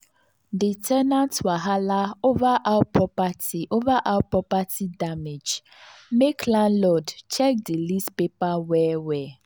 the ten ant wahala over how property over how property damage make landlord check the lease paper well well.